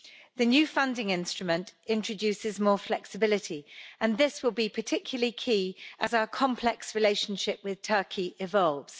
The new funding instrument introduces more flexibility, and this will be particularly key as our complex relationship with Turkey evolves.